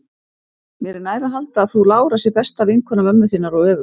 Mér er nær að halda að frú Lára sé besta vinkona mömmu þinnar og öfugt.